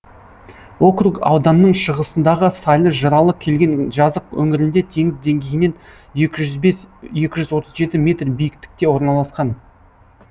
округ ауданның шығысындағы сайлы жыралы келген жазық өңірінде теңіз деңгейінен екі жүз бес екі жүз отыз жеті метр биіктікте орналасқан